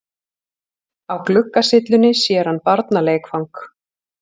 Á gluggasyllunni sér hann barnaleikfang.